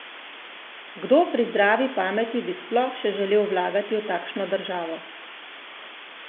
Kdo pri zdravi pameti bi sploh še želel vlagati v takšno državo?